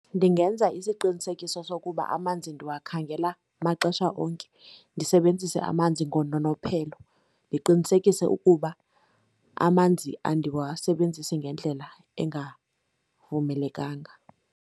Ndingenza isiqinisekiso sokuba amanzi ndiwakhangela amaxesha onke, ndisebenzise amanzi ngononophelo, ndiqinisekise ukuba amanzi andiwasebenzisi ngendlela engavumelekanga.